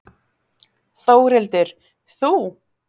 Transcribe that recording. Þórhildur: Þú?